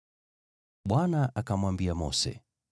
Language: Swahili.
Bwana akamwambia Mose,